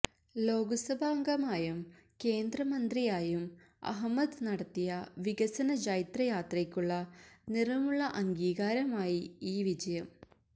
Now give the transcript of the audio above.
ലോക്സഭാംഗമായും കേന്ദ്രമന്ത്രിയായും അഹമ്മദ് നടത്തിയ വികസനജൈത്രയാത്രക്കുള്ള നിറമുള്ള അംഗീകാരമായി ഈ വിജയം